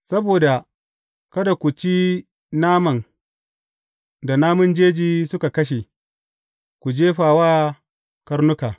Saboda kada ku ci naman da namun jeji suka kashe; ku jefa wa karnuka.